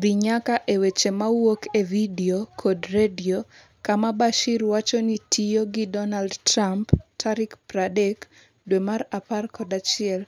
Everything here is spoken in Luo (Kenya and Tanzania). dhi nyaka e weche mawuok e vidio kod redio kama Bashir wacho ni tiyo gi Donald Trump tarik 30 dwe mar apar kod achiel